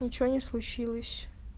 ничего не случилось